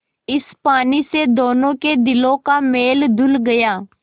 इस पानी से दोनों के दिलों का मैल धुल गया